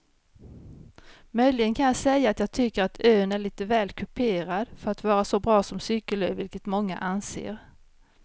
Möjligen kan jag säga att jag tycker att ön är lite väl kuperad för att vara så bra som cykelö vilket många anser.